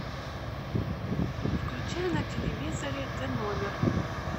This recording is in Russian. включай на телевизоре ты номер